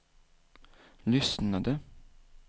lyssnade